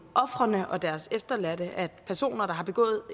ofrene og deres efterladte at personer der har begået